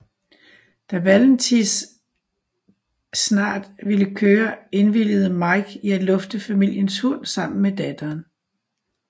Da Valentis snart ville køre indvilligede Mike i at lufte familiens hund sammen med datteren